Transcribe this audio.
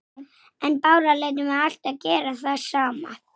Eða léti snoða það.